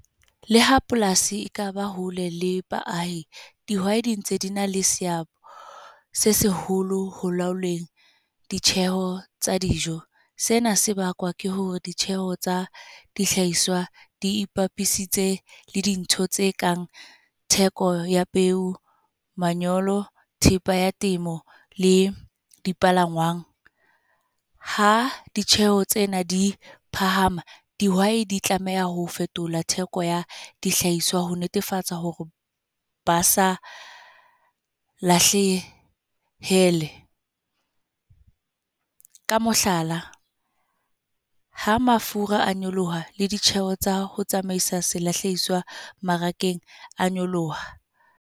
Le ha polasi ekaba hole le baahi. Dihwai di ntse di na le seabo, se seholo ho laolweng ditjheho tsa dijo. Sena se bakwa ke hore ditjheho tsa dihlahiswa di ipapisitse le dintho tse kang theko ya peo, manyolo, thepa ya temo, le dipalangwang. Ha ditjheho tsena di phahama, dihwai di tlameha ho fetola theko ya dihlahiswa ho netefatsa hore ba sa lahlehele. Ka mohlala, ha mafura a nyoloha le ditjheho tsa ho tsamaisa selahlehiswa mmarakeng a nyoloha.